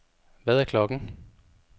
Hvad er klokken